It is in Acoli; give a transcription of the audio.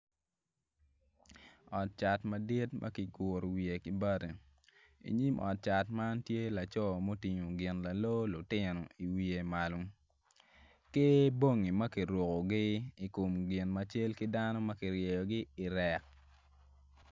Ot cat madit ma kiguru wiye ki bati i nyim ot man tye laco ma otingo gin lalor lutino i wiye malo ki bongi ma kirukugi i kom gin ma cal ki dano ma ki ryeyogi irek